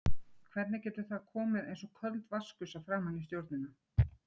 Hvernig getur það komið eins og köld vatnsgusa framan í stjórnina?